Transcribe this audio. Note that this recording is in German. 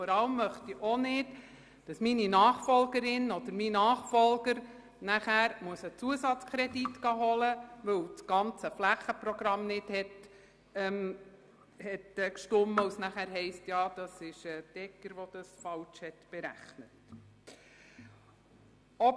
Vor allem möchte ich auch nicht, dass meine Nachfolgerin oder mein Nachfolger einen Zusatzkredit einholen muss, weil das ganze Flächenprogramm nicht gestimmt hat, und es dann heisst, die Egger sei für die falsche Berechnung verantwortlich.